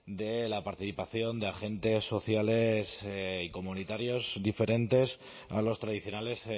de la participación de agentes sociales y comunitarios diferentes a los tradicionales